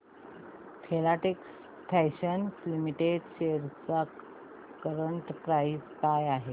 Filatex fashions limited shares ची current price काय आहे